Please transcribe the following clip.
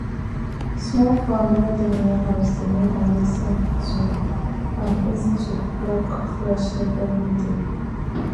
small farm wey dey near house dey make am easy to am easy to pluck fresh leaf every day